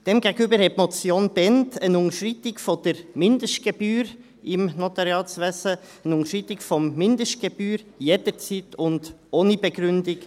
Demgegenüber forderte die Motion Bhend eine Unterschreitung der Mindestgebühr im Notariatswesen, eine Unterschreitung der Mindestgebühr jederzeit und ohne Begründung.